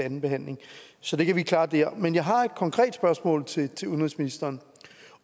anden behandling så det kan vi klare der men jeg har et konkret spørgsmål til udenrigsministeren